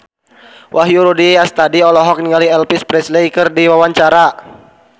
Wahyu Rudi Astadi olohok ningali Elvis Presley keur diwawancara